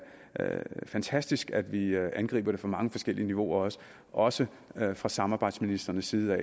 fantastisk at vi angriber det fra mange forskellige niveauer også også fra samarbejdsministrenes side